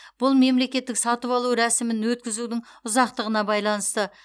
бұл мемлекеттік сатып алу рәсімін өткізудің ұзақтығына байланысты